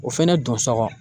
O fɛnɛ don sɔgɔn